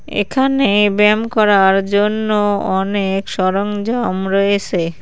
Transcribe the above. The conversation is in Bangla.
এখানে ব্যায়াম করার জন্য অনেক সরঞ্জাম রয়েছে।